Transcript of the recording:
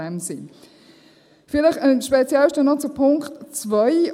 Vielleicht speziell noch zu Punkt 2: